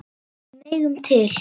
Við megum til.